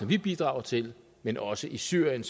vi bidrager til men også i syrien